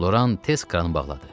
Loran tez kranı bağladı.